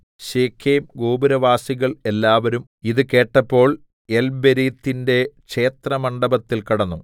ശെഖേംഗോപുരവാസികൾ എല്ലാവരും ഇത് കേട്ടപ്പോൾ ഏൽബെരീത്തിന്റെ ക്ഷേത്രമണ്ഡപത്തിൽ കടന്നു